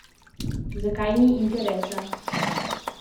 Zakaj ni interesa?